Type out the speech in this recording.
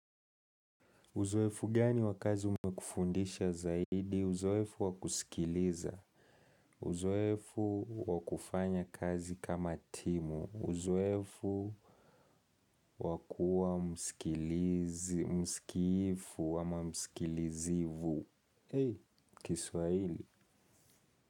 Uzoefu gani wakazi umekufundisha zaidi, uzoefu wakusikiliza, uzoefu wakufanya kazi kama timu, uzoefu wakua msikiifu ama msikilizivu. Hei, kiswaili.